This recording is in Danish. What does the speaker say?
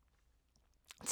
TV 2